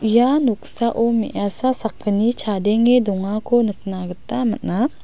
ia noksao me·asa sakgni chadenge dongako nikna gita man·a.